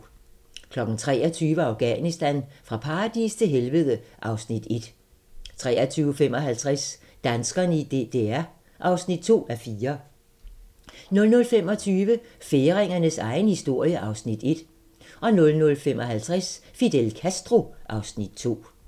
23:00: Afghanistan: Fra paradis til helvede (Afs. 1) 23:55: Danskere i DDR (2:4) 00:25: Færingernes egen historie (Afs. 1) 00:55: Fidel Castro (Afs. 2)